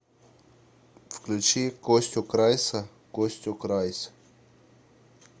включи костю крайса костю крайс